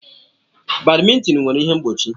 Badmintin nwere ihe mgbochi.